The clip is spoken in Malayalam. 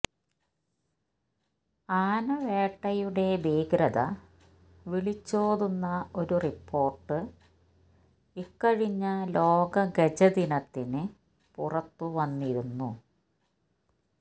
ആനവേട്ടയുടെ ഭീകരത വിളിച്ചോതുന്ന ഒരു റിപ്പോർട്ട് ഇക്കഴിഞ്ഞ ലോക ഗജദിനത്തിന് പുറത്തുവന്നിരുന്നു